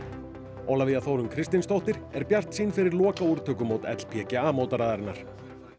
Ólafía Þórunn Kristinsdóttir er bjartsýn fyrir lokaúrtökumót LPGA mótaraðarinnar